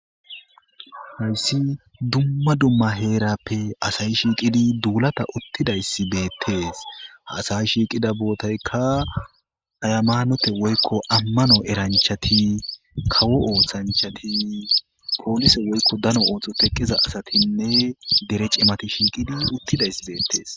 hayssi dumma dumma heerappe asayi shiiqidi duulata uttidayssi beettees ha asayi shiiqida bootayka ayamaanote woykko ammano eranchati kawo ooththanchati poolise woykko dano ooththo teqqiza asatinne dere cimati shiiqidi uttidayss beettees